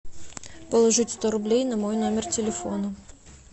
положить сто рублей на мой номер телефона